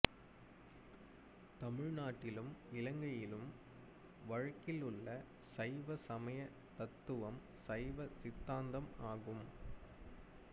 தமிழ் நாட்டிலும் இலங்கையிலும் வழக்கிலுள்ள சைவ சமயத் தத்துவம் சைவ சித்தாந்தம் ஆகும்